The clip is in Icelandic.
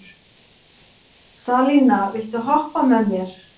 Salína, viltu hoppa með mér?